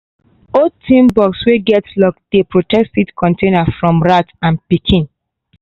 old tin box wey get lock dey protect seed container from rat and pikin.